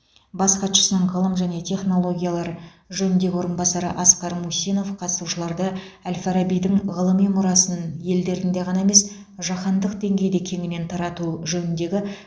бас хатшысының ғылым және технологиялар жөніндегі орынбасары асқар мусинов қатысушыларды әл фарабидің ғылыми мұрасын елдерінде ғана емес жаһандық деңгейде кеңінен тарату жөніндегі